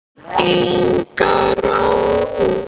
Inga Rós.